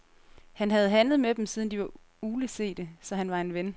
Han havde handlet med dem, siden de var uglesete, så han var en ven.